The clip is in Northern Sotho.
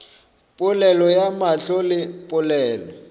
polelo ya mahlo le polelo